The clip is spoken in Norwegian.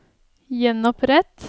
gjenopprett